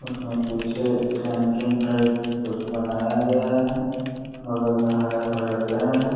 उस में पीछे कैंटीन टाइप कुछ बनाया गया है। बगल में हरा-भरा पेड़ है।